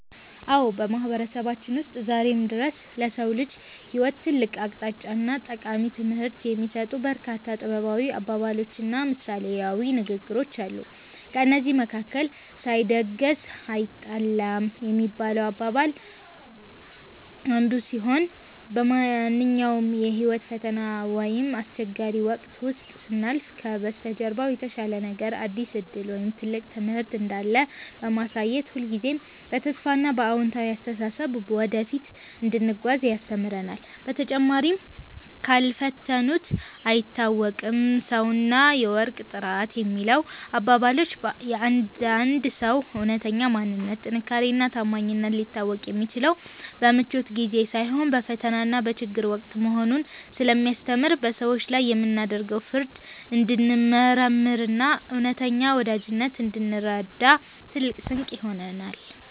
አዎ፣ በማህበረሰባችን ውስጥ ዛሬም ድረስ ለሰው ልጅ ህይወት ትልቅ አቅጣጫና ጠቃሚ ትምህርት የሚሰጡ በርካታ ጥበባዊ አባባሎችና ምሳሌያዊ ንግግሮች አሉ። ከእነዚህም መካከል “ሳይደግስ አይጣላም” የሚለው አባባላችን አንዱ ሲሆን፣ በማንኛውም የህይወት ፈተና ወይም አስቸጋሪ ወቅት ውስጥ ስናልፍ ከበስተጀርባው የተሻለ ነገር፣ አዲስ ዕድል ወይም ትልቅ ትምህርት እንዳለ በማሳየት ሁልጊዜም በተስፋና በአዎንታዊ አስተሳሰብ ወደፊት እንድንጓዝ ያስተምረናል። በተጨማሪም “ካልፈተኑት አይታወቅም ሰውና የወርቅ ጥራት” የሚለው አባባላችን የአንድ ሰው እውነተኛ ማንነት፣ ጥንካሬና ታማኝነት ሊታወቅ የሚችለው በምቾት ጊዜ ሳይሆን በፈተናና በችግር ወቅት መሆኑን ስለሚያስተምር፣ በሰዎች ላይ የምናደርገውን ፍርድ እንድንመረምርና እውነተኛ ወዳጅነትን እንድንረዳ ትልቅ ስንቅ ይሆነናል።